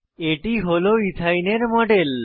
এটি হল ethyne ethyne এর মডেল